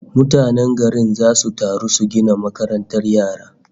Mutanen garin zasu taru su gina makarantar yara